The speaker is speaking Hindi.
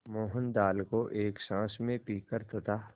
मोहन दाल को एक साँस में पीकर तथा